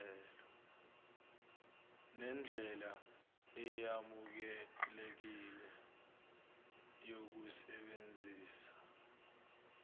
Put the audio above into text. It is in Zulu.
nendlela eyamukelekile yokusebenzisa